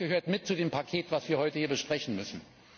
Das gehört mit zu dem Paket, das wir heute hier besprechen müssen.